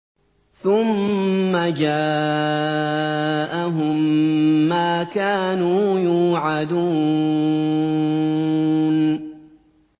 ثُمَّ جَاءَهُم مَّا كَانُوا يُوعَدُونَ